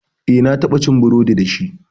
Eh, na taɓa ci burodi dashi.